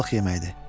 Balıq yeməyi idi.